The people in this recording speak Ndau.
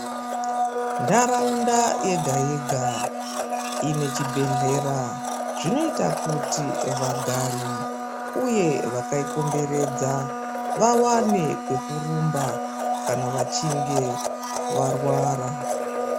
Ntaraunda yega-yega inechibhedhlera zvinota kuti vagari, uye vakaikomberedza vavane kwekurumba kana vachinge varwara.